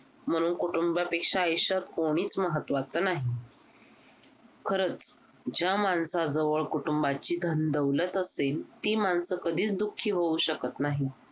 म्हणून कुटुंबापेक्षा आयुष्यात कोणीच महत्वाचं नाही खरंच ज्या माणसाजवळ कुटुंबाची धनदौलत असेल ती माणसं कधीच दुखी होऊ शकत नाहीत